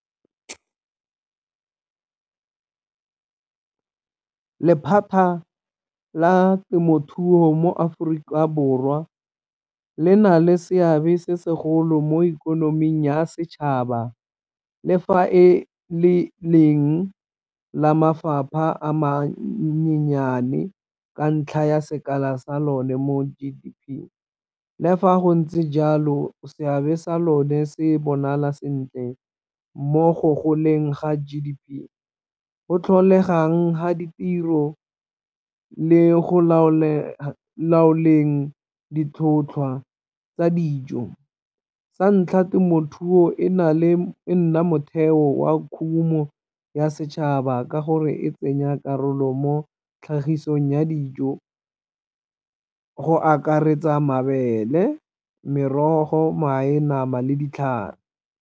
Lephata la temothuo mo Aforika Borwa le na le seabe se segolo mo ikonoming ya setšhaba le fa e le leng la mafapha a mannyane ka ntlha ya sekala sa lone mo G_D_P. Le fa go ntse jalo seabe sa lone se bonala sentle mo go goleng ga G_D_P, go tlholegang ga ditiro le go laoleng ditlhotlhwa tsa dijo. Sa ntlha temothuo e na le, e nna motheo wa khumo ya setšhaba ka gore e tsenya karolo mo tlhagisong ya dijo go akaretsa mabele, merogo, mae, nama le .